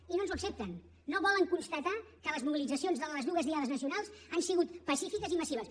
i no ens ho accepten no volen constatar que les mobilitzacions de les dues diades nacionals han sigut pacífiques i massives